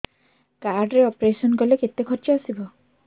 card ରେ operation କଲେ କେତେ ଖର୍ଚ ଆସିବ